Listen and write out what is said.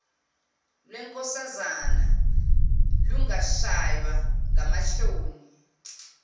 lwenkosazana lungashaywa ngamahloni